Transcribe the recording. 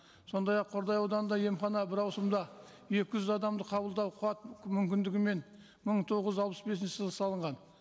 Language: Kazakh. сондай ақ қордай ауданында емхана бір ауысымда екі жүз адамды қабылдау қуат мүмкіндігімен мың тоғыз жүз алпыс бесінші жылы салынған